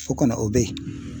O kɔni o bɛ ye.